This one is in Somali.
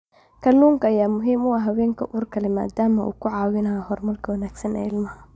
Kalluunka ayaa muhiim u ah haweenka uurka leh maadaama uu ka caawinayo horumarka wanaagsan ee ilmaha.